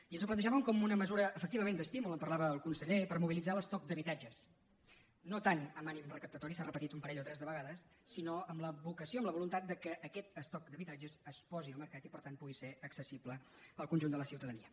i ens ho plantejàvem com una mesura efectivament d’estímul en parlava el conseller per mobilitzar l’estoc d’habitatges no tant amb ànim recaptatori s’ha repetit un parell o tres de vegades sinó amb la vocació amb la voluntat que aquest estoc d’habitatges es posi al mercat i per tant pugui ser accessible al conjunt de la ciutadania